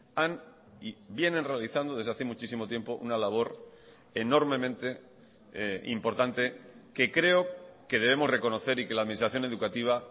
han y vienen realizando desde hace muchísimo tiempo una labor enormemente importante que creo que debemos reconocer y que la administración educativa